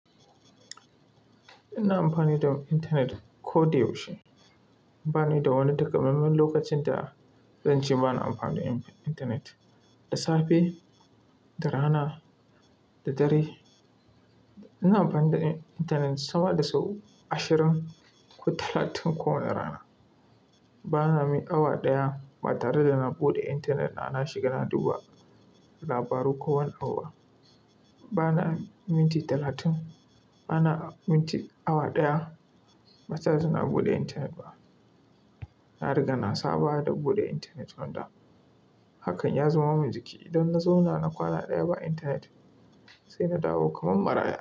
Ina amfani da intanet koyaushe. Bani da wani takamaiman lokacin da zan ce bana amfani da intanet. Da safe, da rana, da dare. Ina amfani da intanet sama da sau ashirin ko talatin kowane rana. Bana yin awa ɗaya ba tare da na buɗe intanet na, na shiga na duba labaru kowane awa. Bana minti talatin, bana minti awa ɗaya ba tare da na buɗe intanet ba. Na riga na saba da buɗe intanet wanda hakan ya zama min jiki. Idan na zauna na kwana ɗaya ba intanet sai na dawo kamar maraya.